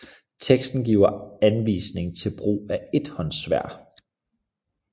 Teksten giver anvisning i brug af ethåndssværd